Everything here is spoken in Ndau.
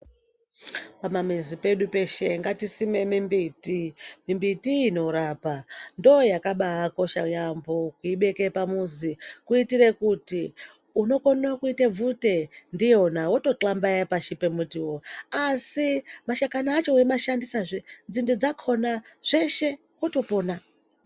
Pamamizi pedu peshe ngatisime mumbiti, mimbiti inorapa ndiyo yakakosha yaamho kuibeka pamuzi kuitira kuti unokona kuita bvute ndiyona wotothwambaya pashi pemutiwo. Asi mashakani acho weimashandisazve nzinde dzakona zveshe wotopona